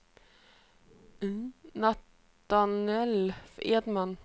Natanael Edman